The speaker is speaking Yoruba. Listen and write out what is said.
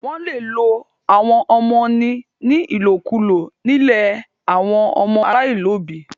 Wó̩n le lo àwọn ọmọ ní ìlòkulò nílé àwọn ọmọ aláìníòbí